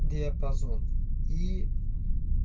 диапазон и